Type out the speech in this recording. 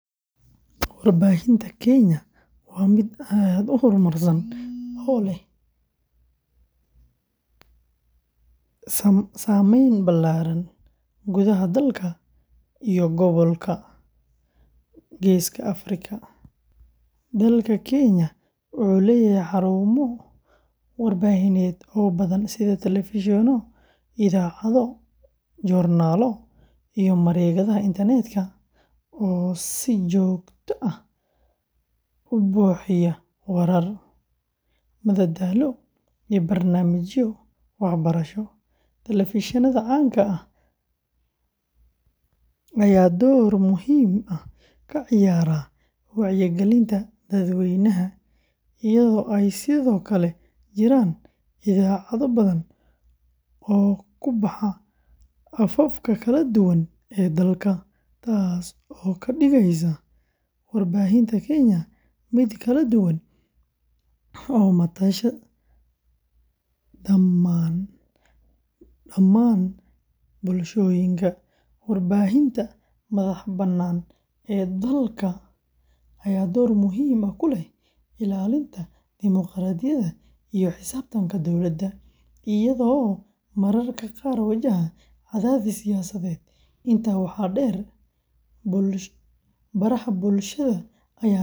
Warbaahinta Kenya waa mid aad u horumarsan oo leh saameyn ballaaran gudaha dalka iyo gobolka Geeska Afrika. Dalka Kenya wuxuu leeyahay xarumo warbaahineed oo badan sida telefishinno, idaacado, joornaallo, iyo mareegaha internetka oo si joogto ah u bixiya warar, madadaalo, iyo barnaamijyo waxbarasho. Telefishinnada caanka ah ayaa door muhiim ah ka ciyaara wacyigelinta dadweynaha, iyadoo ay sidoo kale jiraan idaacado badan oo ku baxa afafka kala duwan ee dalka, taas oo ka dhigaysa warbaahinta Kenya mid kala duwan oo matasha dhammaan bulshooyinka. Warbaahinta madax-bannaan ee dalka ayaa door weyn ku leh ilaalinta dimuqraadiyadda iyo la xisaabtanka dowladda, iyadoo mararka qaar wajahda cadaadis siyaasadeed. Intaa waxaa dheer, baraha bulshada.